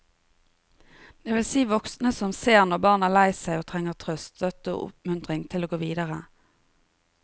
Det vil si voksne som ser når barn er lei seg og trenger trøst, støtte og oppmuntring til å gå videre.